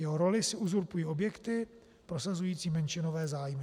Jeho roli si uzurpují subjekty prosazující menšinové zájmy.